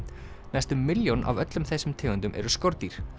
næstum milljón af öllum þessum tegundum eru skordýr